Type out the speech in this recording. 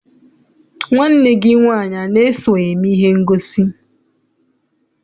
Nwanne gị nwaanyị ana-eso eme ihe ngosi?